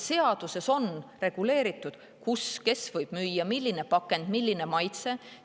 Seaduses on reguleeritud, kus ja kes võib neid müüa, milline on pakend, milline on maitse.